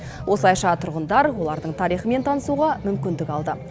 осылайша тұрғындар олардың тарихымен танысуға мүмкіндік алды